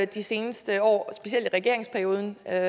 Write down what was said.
de seneste år specielt i regeringsperioden er